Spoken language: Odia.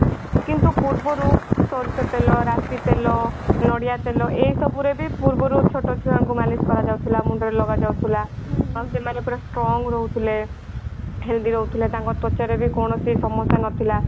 କିନ୍ତୁ ପୂର୍ବରୁ ସୋରିଷ ତେଲ ରାଶି ତେଲ ନଡିଆ ତେଲ ଏ ସବୁ ରେ ବି ପୂର୍ବରୁ ଛୋଟ ଛୁଆ ଙ୍କୁ ମାଲିସ କରା ଯାଉ ଥିଲା ମୁଣ୍ଡ ରେ ଲଗା ଯାଉଥିଲା ଆଉ ସେମାନେ ପୁରା strong ରହୁଥିଲେ ରହୁଥିଲେ ତାଙ୍କ ତ୍ଵଚା ରେ ବି କୌଣସି ସମସ୍ୟା ନଥିଲା।